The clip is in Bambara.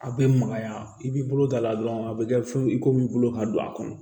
A bɛ magaya i b'i bolo da la dɔrɔn a bɛ kɛ fɛn i komi bolo ka don a kɔnɔ